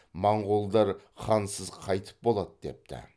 моңғолдар хансыз қайтіп болады депті